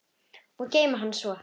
Og geyma hana svo.